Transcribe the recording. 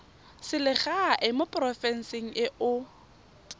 selegae mo porofenseng e o